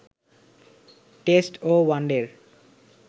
test ও ওয়ানডের